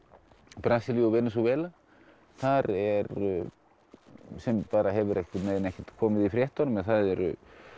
Brasilíu og Venesúela þar eru sem hefur ekki komið í fréttunum en þar eru